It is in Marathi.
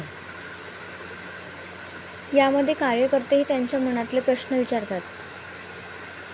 यामध्ये कार्यकर्तेही त्यांच्या मनातले प्रश्न विचारतात.